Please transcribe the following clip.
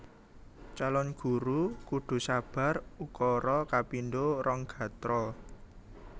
Calon Guru kudu sabar ukara kapindho rong gatra